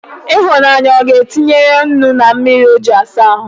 Ịhụnanya ọ ga-tinyere nnu na mmiri o ji asa ahụ?